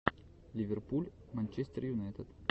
ливерпуль манчестер юнайтед